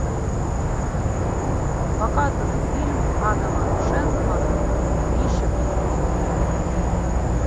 показывай фильм адама шенкмана игрища престолов